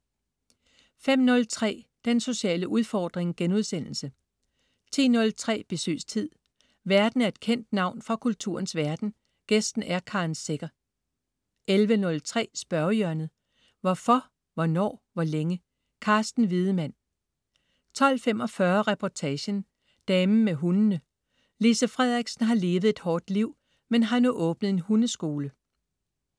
05.03 Den sociale udfordring* 10.03 Besøgstid. Værten er et kendt navn fra kulturens verden, gæsten er Karen Secher 11.03 Spørgehjørnet. Hvorfor, hvornår, hvor længe? Carsten Wiedemann 12.45 Reportagen: Damen med hundene. Lise Frederiksen har levet et hårdt liv, men har nu åbnet en hundeskole